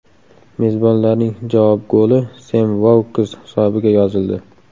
Mezbonlarning javob goli Sem Vouks hisobiga yozildi.